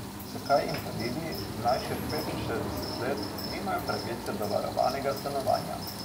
Zakaj invalidi, mlajši od petinšestdeset let, nimajo pravice do varovanega stanovanja?